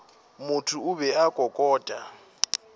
motho o be a kokota